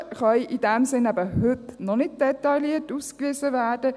Die Kosten können in diesem Sinn heute eben noch nicht detailliert ausgewiesen werden.